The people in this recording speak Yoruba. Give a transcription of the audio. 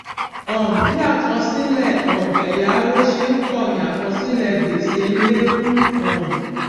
um bí àkọsílè um èyáwó ṣe n pò ni àkọsílè gbèsè n lékún um